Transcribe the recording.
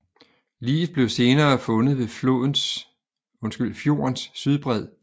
Liget blev senere fundet ved fjordens sydbred